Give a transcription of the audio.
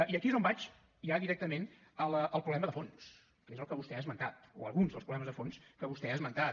i aquí és on vaig ja directament al problema de fons que és el que vostè ha esmentat o alguns dels problemes de fons que vostè ha esmentat